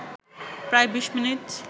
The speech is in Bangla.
প্রায় ২০ মিনিট